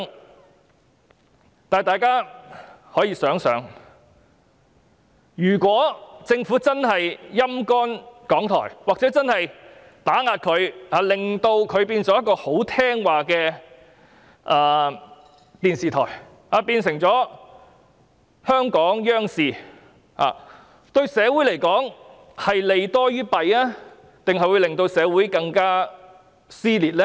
不過，大家可以想想，如果政府"陰乾"或打壓港台，以致港台變成言聽計從的電視台，變成香港央視，這對社會而言是利多於弊，還是會加劇社會撕裂呢？